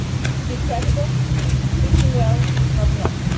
To be credible, preaching well is not enough.